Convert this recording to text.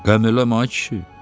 Qəm eləmə ay kişi.